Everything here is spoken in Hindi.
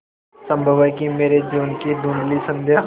संभव है कि मेरे जीवन की धँुधली संध्या